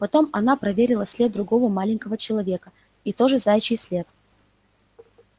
потом она проверила след другого маленького человека и тоже заячий след